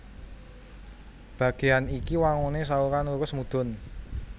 Bagéyan iki wanguné saluran lurus mudhun